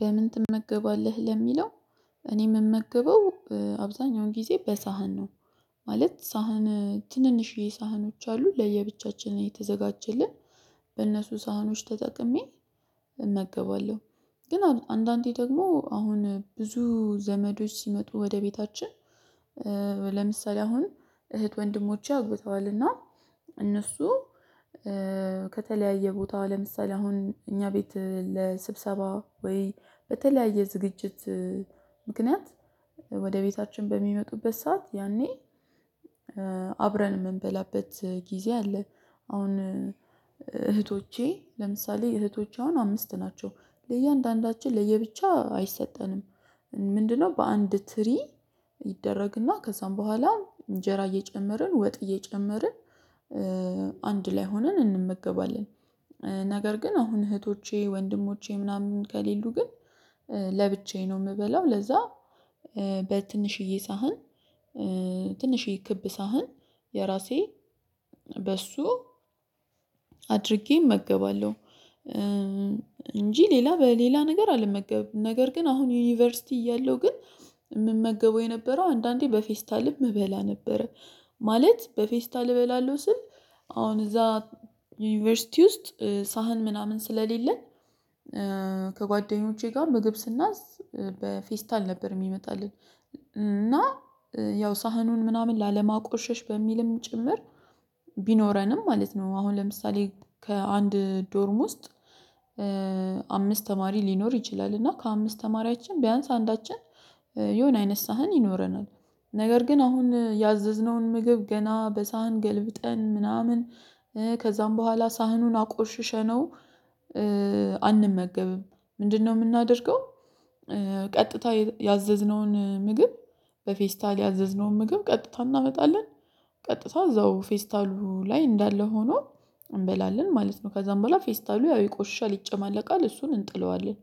በምን ትመገባለህ ለሚለው? እኔ የምመገበው አብዛኛውን ጊዜ በሳህን ነው ማለት ሳህን ትንንሽዬ ሳህኖች አሉ ለየብቻችን ነው የተዘጋጀልን በእነሱ ሳህኖች ተጠቅሜ እመገባለሁ። ግን አንዳንዴ ደግሞ አሁን ብዙ ዘመዶች ሲመጡ ወደ ቤታችን ለምሳሌ አሁን እህት ወንድሞቼ አግብተዋልና እነሱ ከተለያየ ቦታው ለምሳሌ አሁን እኛ ቤት ለስብሰባ ወይ በተለያየ ዝግጅት ምክንያት ወደ ቤታችን በሚመጡበት ሰዓት ያኔ አብረን የምንበላበት ጊዜ አለ። አሁን እህቶቼ ለምሳሌ እህቶች አሁን አምስት ናቸው ለእያንዳንዳችን ለየብቻ አይሰጠንም ምንድነው በአንድ ትሪ ይደረግና ከዛም በኋላ እንጀራ እየጨመርን ወጥ እየጨመርን አንድ ላይ ሆነን እንመገባለን። ነገር ግን አሁን እህቶቼ ወንድሞቼ ምናምን ከሌሉ ግን ለብቻዬ ነው የምበለው ለዛ በትንሽዬ ሳህን ትንሽዬ ክብ ሳህን የራሴ በሱ አድርጌ እመገባለሁ። እንጂ ሌላ በሌላ ነገር አልመገብም ነገር ግን አሁን ዩኒቨርሲቲ እያለሁ ግን የምመገበው የነበረው አንዳንዴ በፌስታልም እበላ ነበረ። ማለት በፌስታል እበላለሁ ስል አሁን እዛ ዩኒቨርሲቲ ውስጥ ሳህን ምናምን ስለሌለን ከጓደኞቼ ጋር ምግብ ስናዝ በፌስታል ነበር የሚመጣልን እና ያው ሳህኑን ምናምን ላለማቆሸሽ በሚልም ጭምር ቢኖረንም ማለት ነው። አሁን ለምሳሌ ከአንድ ዶርም ውስጥ አምስት ተማሪ ሊኖር ይችላል እና ከአምስት ተማሪያችን ቢያንስ አንዳችን የሆነ አይነት ሳህን ይኖረናል። ነገር ግን አሁን ያዘዝነውን ምግብ ገና በሳህን ገልብጠን ምናምን ከዛም በኋላ ሳህኑን አቆሽሸነው አንመገብም ምንድነው የምናደርገው? ቀጥታ ያዘዝነውን ምግብ በፌስታል ያዘዝነውን ምግብ ቀጥታ እናመጣለን ቀጥታ እዛው ፌስታሉ ላይ እንዳለ ሆኖ እንበላለን ማለት ነው። ከዛም በኋላ ፌስታሉ ያው ይቆሻል ይጨማለቃል እሱን እንጥለዋለን።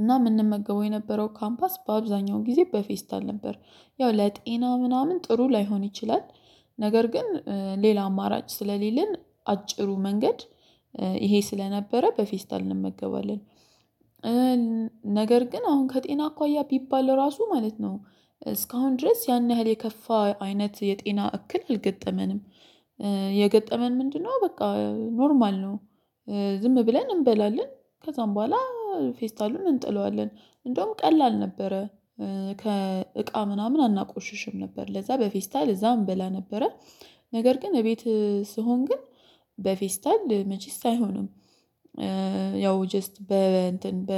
እና የምንመገበው የነበረው ካምፓስ በአብዛኛው ጊዜ በፌስታል ነበር ያው ለጤና ምናምን ጥሩ ላይሆን ይችላል። ነገር ግን ሌላ አማራጭ ስለሌለን አጭሩ መንገድ ይሄ ስለነበረ በፌስታል እንመገባለን። ነገር ግን አሁን ከጤና አኳያ ቢባል ራሱ ማለት ነው እስካሁን ድረስ ያን ያህል የከፋ አይነት የጤና እክል አልገጠመንም። የገጠመን ምንድነው በቃ ኖርማል ነው። ዝም ብለን እንበላለን ከዛም በኋላ ፌስታሉን እንጥለዋለን እንደውም ቀላል ነበረ። ከእቃ ምናምን አናቆሽሽም ነበር ለዛ በፌስታል እዛ እንበላ ነበረ ነገር ግን እቤት ስሆን ግን በፌስታል መቼስ አይሆንም። ያው ጀስት በ እንትን በ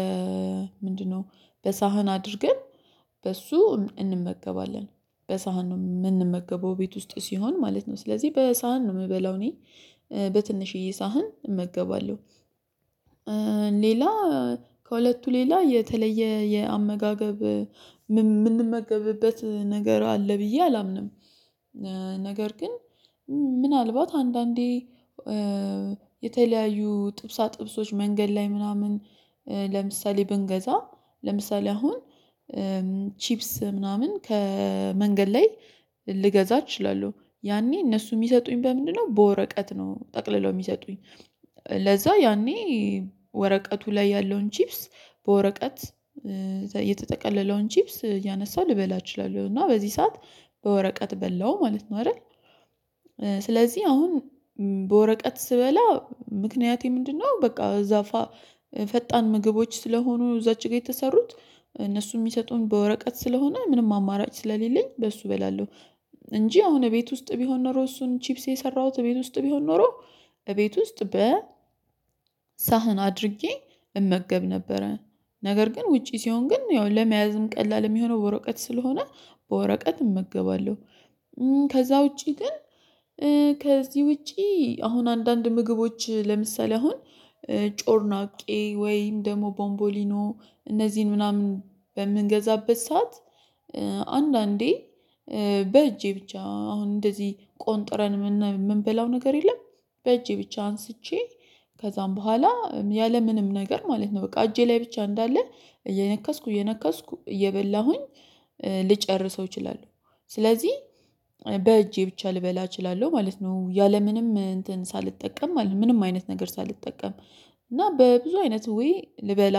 ምንድነው? በሳህን አድርገን በሱ እንመገባለን በሳህን ነው የምንመገበው ቤት ውስጥ ሲሆን ማለት ነው ስለዚህ በሳህን ነው የምበላው እኔ በትንሽዬ ሳህን እመገባለሁ። ሌላ ከሁለቱ ሌላ የተለየ የአመጋገብ የምንመገብበት ነገር አለ ብዬ አላምንም። ነገር ግን ምናልባት አንዳንዴ የተለያዩ ጥብሳ ጥብሶች መንገድ ላይ ምናምን ለምሳሌ ብንገዛ ለምሳሌ አሁን ቺፕስ ምናምን ከመንገድ ላይ ልገዛ እችላለሁ። ያኔ እነሱ የሚሰጡኝ በምንድነው በወረቀት ነው ጠቅልለው የሚሰጡኝ ለዛ ያኔ ወረቀቱ ላይ ያለውን ቺፕስ በወረቀት የተጠቀለለውን ቺፕስ እያነሳው ልበላ እችላለሁ እና በዚህ ሰዓት በወረቀት በላው ማለት ነው። አይደል? ስለዚህ አሁን በወረቀት ስበላ ምክንያቴ ምንድነው? በቃ በዛ ፈጣን ምግቦች ስለሆኑ እዛች ጋር የተሰሩት እነሱ የሚሰጡኝ በወረቀት ስለሆነ ምንም አማራጭ ስለሌለኝ በሱ እበላለሁ። እንጂ አሁን እቤት ውስጥ ቢሆን ኖሮ እሱን ቺፕስ የሰራሁት እቤት ውስጥ ቢሆን ኖሮ እቤት ውስጥ በ ሳህን አድርጌ እመገብ ነበረ ነገር ግን ውጪ ሲሆን ግን ያው ለመያዝም ቀላል የሚሆነው በወረቀት ስለሆነ በወረቀት እመገባለሁ። ከዛ ውጪ ግን ከዚህ ውጪ አሁን አንዳንድ ምግቦች ለምሳሌ አሁን ጮርናቄ ወይም ደግሞ ቦምቦሊኖ እነዚህን ምናምን በምንገዛበት ሰዓት አንዳንዴ በእጄ ብቻ አሁን እንደዚህ ቆንጥረን የምንበላው ነገር የለም። በእጄ ብቻ አንስቼ ከዛም በኋላ ያለምንም ነገር ማለት ነው በቃ እጄ ላይ ብቻ እንዳለ እየነከስኩ እየነከስኩ እየበላሁኝ ልጨርሰው እችላለሁ። ስለዚህ በእጄ ብቻ ልበላ እችላለሁ ማለት ነው ያለምንም እንትን ሳልጠቀም ማለት ነው። ምንም አይነት ነገር ሳልጠቀም እና በብዙ አይነት ዌይ ልበላ